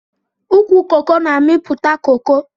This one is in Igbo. Ukwu coco na amiputa coco.